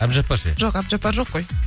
әбдіжапар ше жоқ әбдіжаппар жоқ қой